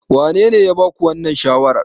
Wanene ya ba ku wannan shawarar?